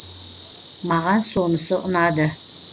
маған сонысы ұнады